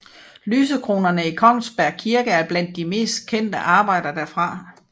Lysekronerne i Kongsberg kirke er blandt de mest kendte arbejder derfra